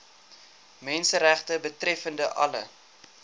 menseregte betreffende alle